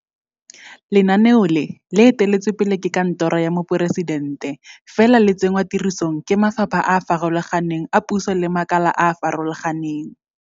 Lenaneo le, le eteletswe pele ke Kantoro ya Moporesitente, fela le tsenngwa tirisong ke mafapha a a farologaneng a puso le makala a a farologaneng.